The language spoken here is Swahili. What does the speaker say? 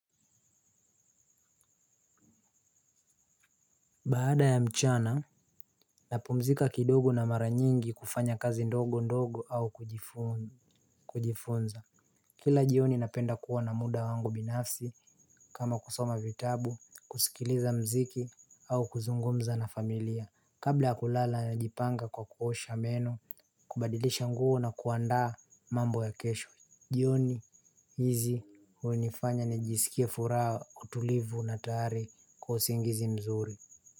Baada ya mchana, napumzika kidogo na mara nyingi kufanya kazi ndogo ndogo au kujifunza. Kila jioni napenda kuwa na muda wangu binafsi kama kusoma vitabu, kusikiliza muziki au kuzungumza na familia. Kabla ya kulala na jipanga kwa kuosha meno, kubadilisha nguo na kuandaa mambo ya kesho. Jioni hizi hunifanya nijisikie furaha utulivu na tayari kwa usingizi mzuri Muzika.